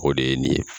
O de ye nin ye